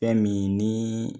Fɛn min ni